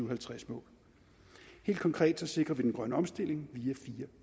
og halvtreds mål helt konkret sikrer vi den grønne omstilling via fire